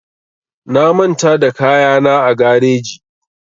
Na manta da kayana a gareji